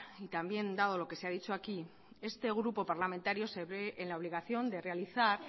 y también dado lo que se ha dicho aquí este grupo parlamentario se ve en la obligación de realizar